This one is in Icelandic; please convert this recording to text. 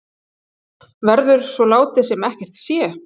Verður svo látið sem ekkert sé?